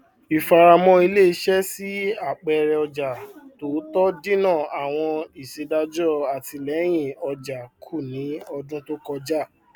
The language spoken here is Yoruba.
ìfáramọ iléiṣẹ sí àpẹrẹ ọjà tó tọ dínà àwọn ìṣèdájọ àtìlẹyìn ọjà kù ní ọdún tó kọjá